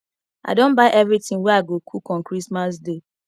i don buy everything wey i go cook on christmas day